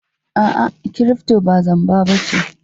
A'a, kirifto ba zamba ba ce.